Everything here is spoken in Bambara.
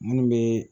Minnu bɛ